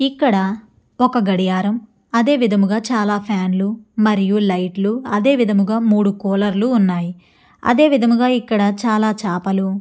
ఇక్కడ ఒక గడియారం అదేవిధంగా చాలా ఫ్యాన్ లు మరియు లైట్ లు అదే విధముగా మూడు కూలర్ లు ఉన్నాయి. అదే విధముగా ఇక్కడ చాలా చాపలు --